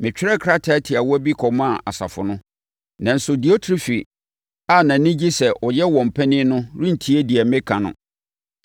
Metwerɛɛ krataa tiawa bi kɔmaa asafo no, nanso Diotrefe a nʼani gye sɛ ɔyɛ wɔn panin no rentie deɛ meka no.